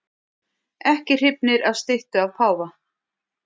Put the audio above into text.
Ekki hrifnir af styttu af páfa